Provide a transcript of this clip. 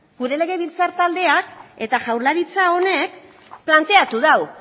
gure legebiltzar taldeak eta jaurlaritza honek planteatu du